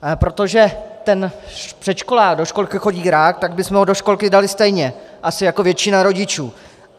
Protože ten předškolák do školky chodí rád, tak bychom ho do školky dali stejně, asi jako většina rodičů.